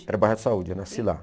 Era no bairro da Saúde, eu nasci lá.